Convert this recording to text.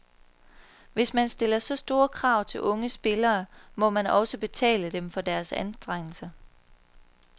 Hvis man stiller så store krav til unge spillere, må man også betale dem for deres anstrengelser.